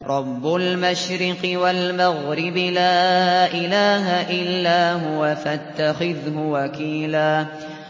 رَّبُّ الْمَشْرِقِ وَالْمَغْرِبِ لَا إِلَٰهَ إِلَّا هُوَ فَاتَّخِذْهُ وَكِيلًا